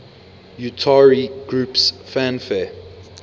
utari groups fanfare